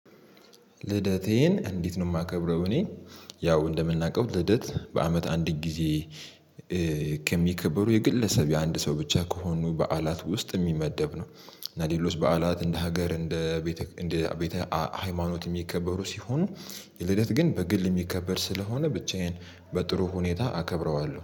ልደቴን እንዴት ነው የማከብረው? እኔ ያው እንደምናውቀው ልደት በአመት አንድ ጊዜ የግለሰብ አንድ ሰው ብቻ ከሆኑ በዓላት ውስጥ የሚመደብ ነው። እና ሌሎች በዓላት እንደ ሀገር እንደ ቤተ ሃይማኖት የሚከበሩ ሲሆኑ። የልደት ግን በግል የሚከበር ስለሆነ ብቻዬን በጥሩ ሁኔታ አከብረዋለሁ